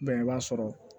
i b'a sɔrɔ